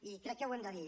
i crec que ho hem de dir